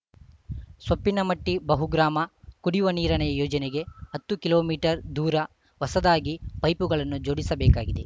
ಸೊಪ್ಪಿನಮಟ್ಟಿಬಹುಗ್ರಾಮ ಕುಡಿಯುವ ನೀರಿನ ಯೋಜನೆಗೆ ಹತ್ತು ಕಿಲೋಮೀಟರ್ ದೂರ ಹೊಸದಾಗಿ ಪೈಪುಗಳನ್ನು ಜೋಡಿಸಬೇಕಾಗಿದೆ